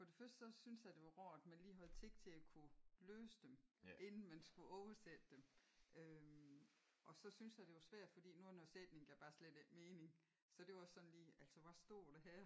For det første så synes a det var rart man lige havde tik til at kunne læse dem inden man skulle oversætte dem øh og så synes jeg det var svært fordi nogle af sætningerne gav bare slet æ mening så det var også sådan lige altså hvad stod det her?